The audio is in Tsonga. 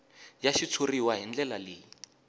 ya xitshuriwa hi ndlela leyi